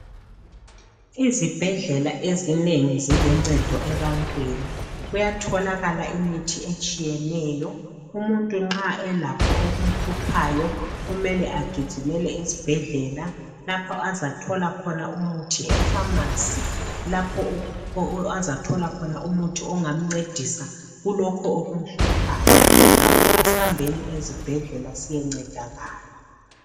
Izibhedlela ezinengi ziluncedo ebantwini kuyatholakala imithi etshiyeneyo. Umuntu nxa elakho okumhluphayo kumele agijimele esibhedlela lapho azathola khona umuthi epharmacy lapho azathola khona umuthi ongamncedisa kulokho okumhluphayo. Ngakho asambeni ezibhedlela siyencedakala.